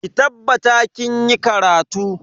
Ki tabbatar kinyi karatu.